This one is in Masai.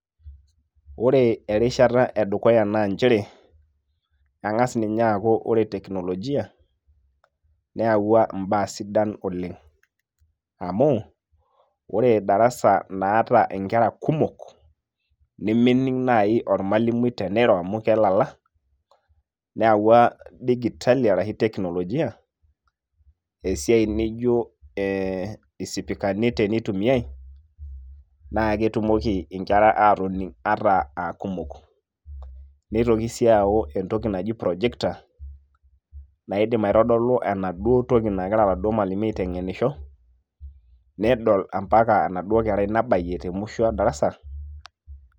Ore erishata edukuya na njere, eng'as ninye aaku ore teknolojia ,neyawua imbaa sidan oleng'. Amu, ore darasa naata inkera kumok, nemening' nai ormalimui teniro amu kelala, neewua dijitali arashu teknolojia ,esiai nijo eh isipikani teneitumiai, naa ketumoki inkera aatoning' ata aakumok. Neitoki si aau entoki naji projector ,naidim aitodolu enaduo toki nagira oladuo malimui aiteng'enisho, nedol ampaka enaduo kerai nabayie temusho e darasa.